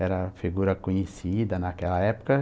Era figura conhecida naquela época.